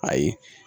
Ayi